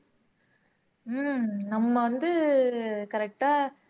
உம் நம்ம வந்து correct ஆ